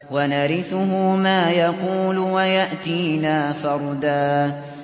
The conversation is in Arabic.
وَنَرِثُهُ مَا يَقُولُ وَيَأْتِينَا فَرْدًا